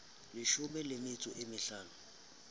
leshome le metso e mehlano